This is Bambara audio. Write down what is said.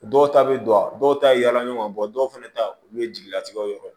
Dɔw ta bɛ don a dɔw ta yaala ɲɔgɔn bɔ dɔw fana ta olu ye jigilatigɛw yɛrɛ ye